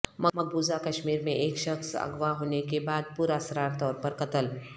مقبوضہ کشمیر میں ایک شخص اغوا ہونے کے بعد پراسرار طورپر قتل